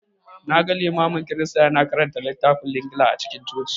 Na ga Limamin Kirista ya na karanta littafin Linjila a cikin Coci